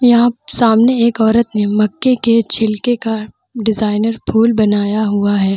यहाँ सामने एक औरत ने मक्के के छिलके का डिजाइनर फूल बनाया हुआ है।